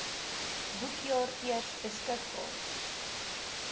boekjaar eers beskikbaar